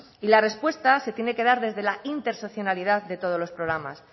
y la respuesta se tiene que dar desde la de todos los